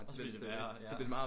Så bliver det værre ja